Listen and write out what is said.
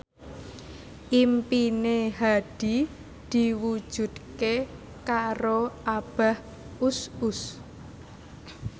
impine Hadi diwujudke karo Abah Us Us